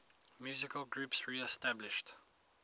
musical groups reestablished